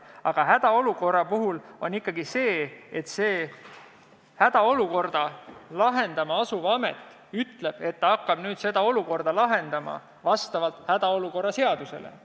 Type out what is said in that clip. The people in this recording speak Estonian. Aga hädaolukorra puhul on ikkagi sedasi, et hädaolukorda lahendama asuv amet ütleb, et ta hakkab nüüd seda olukorda lahendama vastavalt hädaolukorra seadusele.